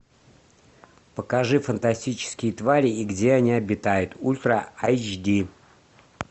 покажи фантастические твари и где они обитают ультра эйч ди